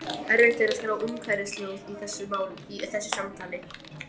Erfitt er að skrá umhverfishljóð í þessu samtali.